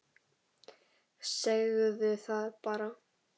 Segðu það bara!